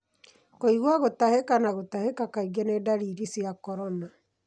Kũĩgua gũtahĩka na gũtahĩka kaingĩ ni ndariri cia corona.